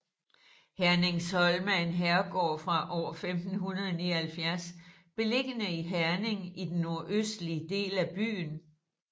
Herningsholm er en herregård fra år 1579 beliggende i Herning i den nordøstlige del af byen